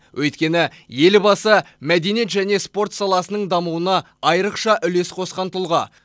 өйткені елбасы мәдениет және спорт саласының дамуына айрықша үлес қосқан тұлға